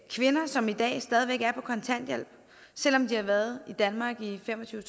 kvinder som i dag stadig væk er på kontanthjælp selv om de har været i danmark i fem og tyve